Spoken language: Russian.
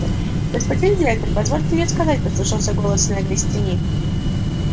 господин директор позвольте мне сказать послышался голос снегга из тени